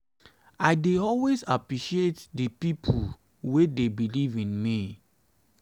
i dey always appreciate di pipo wey dey believe in me. in me.